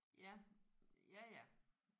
Ja ja ja